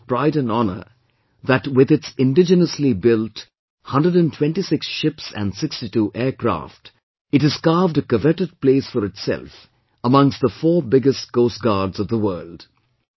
It is a matter of pride and honour that with its indigenously built 126 ships and 62 aircrafts, it has carved a coveted place for itself amongst the 4 biggest Coast Guards of the world